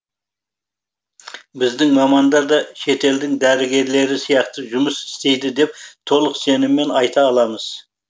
біздің мамандар да шетелдің дәрігерлері сияқты жұмыс істейді деп толық сеніммен айта аламыз